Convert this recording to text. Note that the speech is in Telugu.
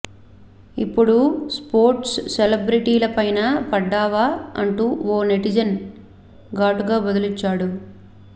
ఇప్పుడు స్పోర్ట్స్ సెలెబ్రిటీలపైనా పడ్డావా అంటూ ఓ నెటిజన్ ఘాటుగా బదులిచ్చాడు